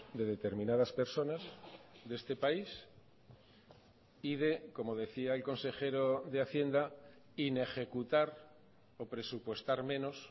de determinadas personas de este país y de como decía el consejero de hacienda inejecutar o presupuestar menos